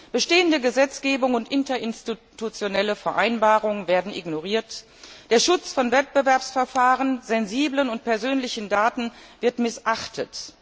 Bestehende Gesetzgebung und interinstitutionelle Vereinbarungen werden ignoriert, der Schutz von Wettbewerbsverfahren, sensiblen und persönlichen Daten wird missachtet.